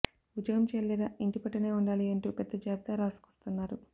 ఉద్యోగం చేయాలి లేదా ఇంటిపట్టునే ఉండాలి అంటూ పెద్ద జాబితా రాసుకొస్తున్నారు